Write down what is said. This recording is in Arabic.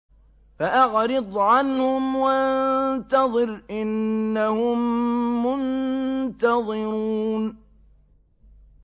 فَأَعْرِضْ عَنْهُمْ وَانتَظِرْ إِنَّهُم مُّنتَظِرُونَ